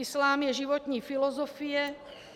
Islám je životní filozofie.